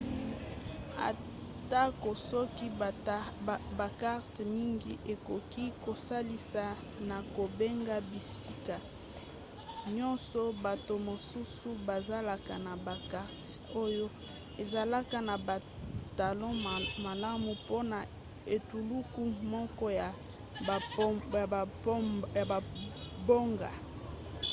atako soki bakarte mingi ekoki kosalisa na kobenga bisika nyonso bato mosusu bazalaka na bakarte oyo ezalaka na batalo malamu mpona etuluku moko ya bamboka